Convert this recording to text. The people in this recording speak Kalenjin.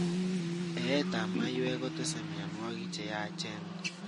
Eeet ab maiywek kotese mionwokik cheyacen